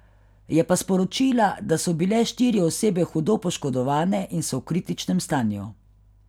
Je pa sporočila, da so bile štiri osebe hudo poškodovane in so v kritičnem stanju.